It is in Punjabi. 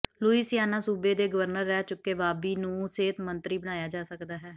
ਲੁਈਸਿਆਨਾ ਸੂਬੇ ਦੇ ਗਵਰਨਰ ਰਹਿ ਚੁੱਕੇ ਬਾਬੀ ਨੂੰ ਸਿਹਤ ਮੰਤਰੀ ਬਣਾਇਆ ਜਾ ਸਕਦਾ ਹੈ